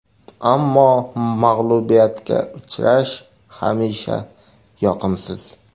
Ammo mag‘lubiyatga uchrash hamisha yoqimsiz.